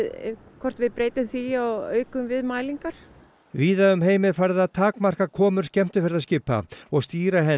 hvort við breytum því og aukum við mælingar víða um heim er farið að takmarka komur skemmtiferðaskipa og stýra henni